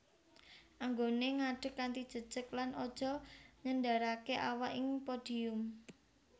Anggoné ngadeg kanthi jejeg lan aja nyenderaké awak ing podium